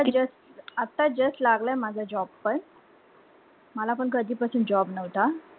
Just आता just लागलंय माझा job पण मला पण कधी पासून job नव्हता